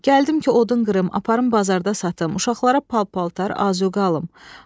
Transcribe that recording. Gəldim ki, odun qırım, aparım bazarda satım, uşaqlara pal-paltar, azuqə alım.